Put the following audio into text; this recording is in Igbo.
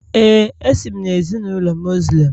Ee, esi m na ezinụlọ Muslim